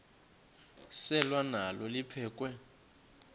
selwa nalo liphekhwe